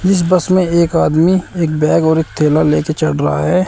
इस बस में एक आदमी एक बैग और एक थैला ले के चढ़ रहा है।